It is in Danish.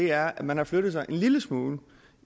er at man har flyttet sig en lille smule